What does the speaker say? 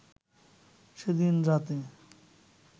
সেদিন রাতে